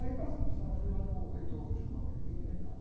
Aí, fui lá no reitor, chamava.